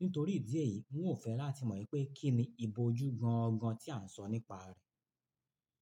Nítorí ìdí èyí, n ò fẹ́ láti mọ̀ wípé kín ni ìbòjú gan gan tí à ń sọ nípa rẹ̀.